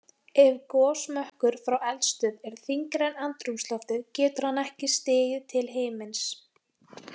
Ef gosmökkur frá eldstöð er þyngri en andrúmsloftið getur hann ekki stigið til himins.